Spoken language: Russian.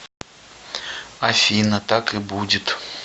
афина так и будет